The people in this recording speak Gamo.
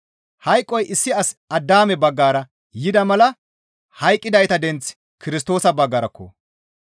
Hayqoy issi as Addaame baggara yida mala hayqqidayta denththi Kirstoosa baggarakko.